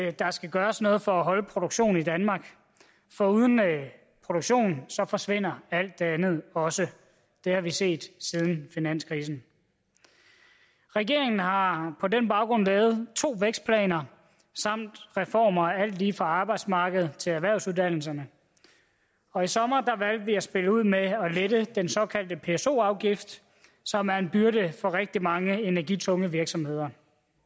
at der skal gøres noget for at holde produktion i danmark for uden produktion forsvinder alt det andet også det har vi set siden finanskrisen regeringen har på den baggrund lavet to vækstplaner samt reformer af alt lige fra arbejdsmarkedet til erhvervsuddannelserne og i sommer valgte vi at spille ud med at lette den såkaldte pso afgift som er en byrde for rigtig mange energitunge virksomheder